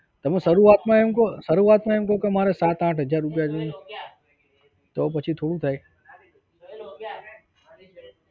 તમે શરૂઆતમાં એમ કો કે મારે સાત આંઠ હજાર રૂપિયા જોઈ તો પછી થોડું થાય